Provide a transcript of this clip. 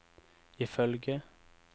ifølge